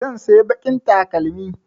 Zan saya baƙin takalmi